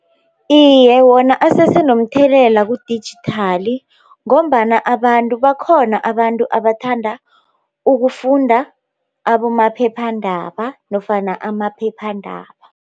Iye, wona asese nomthelela kudijithali ngombana abantu bakhona abantu abathanda ukufunda abomaphephandaba nofana amaphephandaba.